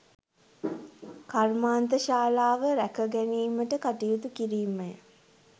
කර්මාන්ත ශාලාව රැක ගැනීමට කටයුතු කිරීමය